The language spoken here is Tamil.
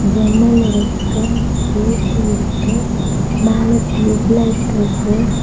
ஜன்னல் இருக்கு ஏ_சி இருக்கு மேல டியூப் லைட் இருக்கு.